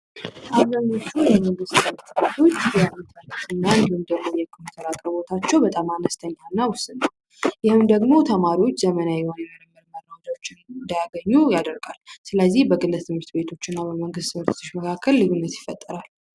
አብዛኞች የመንግስት ትምህርት ቤቶች የኢንተርኔት ና የኮምፒውተር አቅርቦት አነስተኛ ና ውስን ነው ይህም ተማሪዎችን ዘመናዊ የሆኑ መረጃዎችን እንዳያገኙ ያደርጋል ስለዚህ በግል ትምህርት ቤቶች ና በመንግሥት ትምህርት ቤቶች ልዩነት ይፈጠራል።